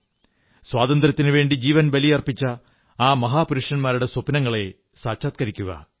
സ്വാതന്ത്ര്യത്തിനുവേണ്ടി ജീവൻ ബലിയർപ്പിച്ച ആ മഹാപുരുഷന്മാരുടെ സ്വപ്നങ്ങളെ സാക്ഷാത്കരിക്കുക